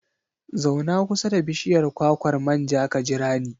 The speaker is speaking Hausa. Zauna kusa da bishiyar kwakwar manja ka jira ni.